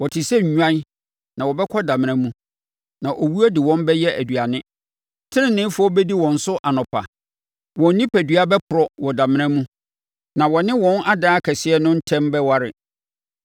Wɔte sɛ nnwan na wɔbɛkɔ damena mu, na owuo de wɔn bɛyɛ nʼaduane. Teneneefoɔ bɛdi wɔn so anɔpa; wɔn onipadua bɛporɔ wɔ damena mu, na wɔne wɔn adan akɛseɛ no ntam kwan bɛware.